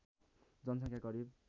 जनसङ्ख्या करिब